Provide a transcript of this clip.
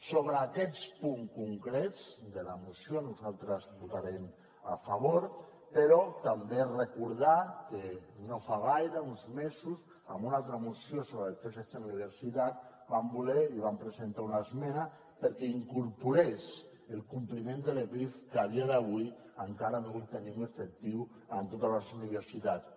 sobre aquests punts concrets de la moció nosaltres votarem a favor però també recordar que no fa gaire uns mesos en una altra moció sobre els préstecs d’universitat vam voler i vam presentar una esmena perquè incorporés el compliment de l’epif que a dia d’avui encara no el tenim efectiu en totes les universitats